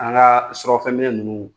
An ka surafɛn minɛ ninnu